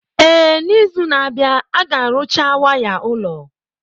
Ee, n'izu na-abịa, a ga-arụcha waya ụlọ.